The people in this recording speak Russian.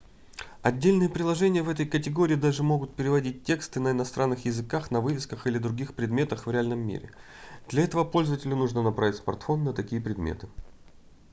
отдельные приложения в этой категории даже могут переводить тексты на иностранных языках на вывесках или других предметах в реальном мире для этого пользователю нужно направить смартфон на такие предметы